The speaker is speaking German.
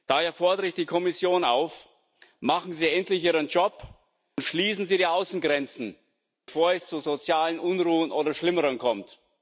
Daher fordere ich die Kommission auf Machen Sie endlich Ihren Job und schließen Sie die Außengrenzen, bevor es zu sozialen Unruhen oder Schlimmerem kommt!